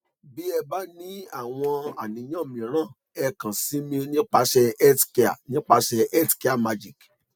bí ẹ bá ní àwọn àníyàn mìírànẹ kàn sí mi nípasẹ healthcare nípasẹ healthcare magic